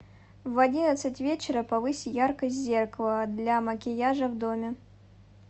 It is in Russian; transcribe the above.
в одиннадцать вечера повысь яркость зеркала для макияжа в доме